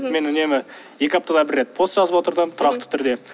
мен үнемі екі аптада бір рет пост жазып отырдым тұрақты түрде